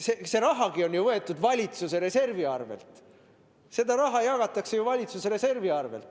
Seda raha jagatakse ju valitsuse reservi arvel.